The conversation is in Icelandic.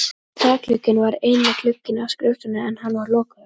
Þakglugginn var eini glugginn á skrifstofunni en hann var lokaður.